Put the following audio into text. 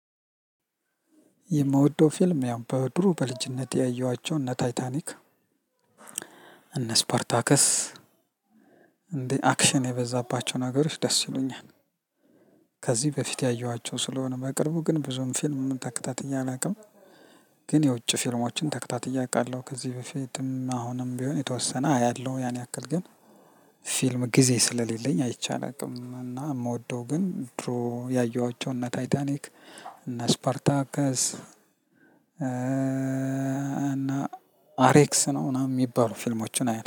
የምወደው ፊልም ያው በድሮ በልጅነቴ ያየኋቸው እነ ታይታኒክ እነ እስፓርታከስ እንደ አክሽን የበዛባቸው ነገሮች ደስ ይሉኛል። ከዚህ በፊት ያየኋቸው ስለሆነ በቅርቡ ግን ብዙም ፊልም ተከታትየ አላቅም። ግን የውጭ ፊልሞችን ተከታትየ አውቃለው ከዚህ በፊትም አሁንም ቢሆን የተወሰነ አያለሁ ያን ያክል ግን ፊልም ጊዜ ስለሌለኝ አይቼ አላውቅም። እና የምወደው ግን ድሮ ያየኋቸው እነ ታይታኒክ እነ እስፓርታከስ እና አሬክስ ነው ምናምን የሚባሉ ፊልሞችን አያለው